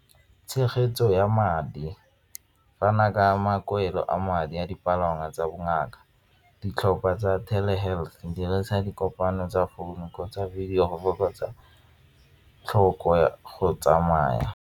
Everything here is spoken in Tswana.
Tshegetso ya madi fana ka makwele a madi a dipalangwa tsa bongaka, ditlhopha tsa telehealth, dirisa dikopano tsa founu kgotsa video go fokotsa tlhoko ya go tsamaya.